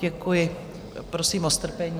Děkuji, prosím o strpení.